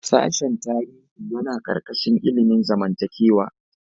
Sashen tarihi yana ƙarƙashin ilimin zamantakewa.